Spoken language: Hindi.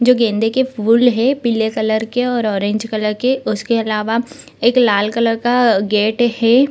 जो गेंदे के फूल हैं पीले कलर के और ऑरेंज कलर के उसके अलावा एक लाल कलर का गेट है।